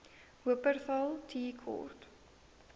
wupperthal tea court